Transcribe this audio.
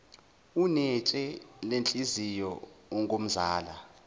unetshe lenhliziyo ungumzala